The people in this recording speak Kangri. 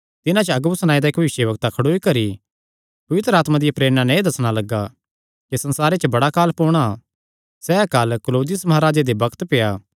तिन्हां च अगबुस नांऐ दा इक्क भविष्यवक्ता खड़ोई करी पवित्र आत्मा दिया प्रेरणा नैं एह़ दस्सणा लग्गा कि सारे संसारे च बड़ा अकाल पोणा सैह़ अकाल क्लौदियुस महाराजे दे बग्त पेआ